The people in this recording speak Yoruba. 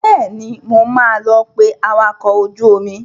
Bẹ́ẹ̀ni, mo máa lọ pé awakọ̀ ojú omi.